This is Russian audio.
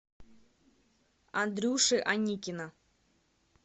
андрюши аникина